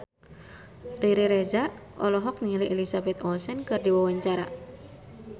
Riri Reza olohok ningali Elizabeth Olsen keur diwawancara